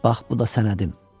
Bax bu da sənədim.